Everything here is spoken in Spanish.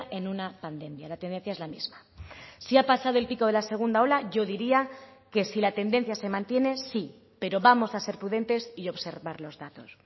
en una pandemia la tendencia es la misma si ha pasado el pico de la segunda ola yo diría que si la tendencia se mantiene sí pero vamos a ser prudentes y observar los datos